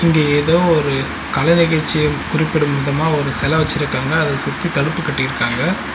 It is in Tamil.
இங்க ஏதோ ஒரு கல நிகழ்ச்சிய குறிப்பிடும் விதமா ஒரு செல வெச்சுருக்காங்க அத சுத்தித் தடுப்பு கட்டிருக்காங்க.